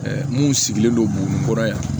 mun sigilen don buguni kɔrɔ yan